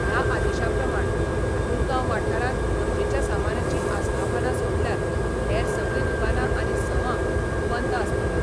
ह्या आदेशा प्रमाण मुरगांव वाठारांत गरजेच्या सामानाची आस्थापनां सोडल्यार हेर सगळीं दुकानां आनी संवा बंद आसतल्यो.